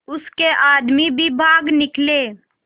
उसके आदमी भी भाग निकले